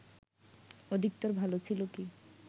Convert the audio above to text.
অধিকতর ভালো ছিল কি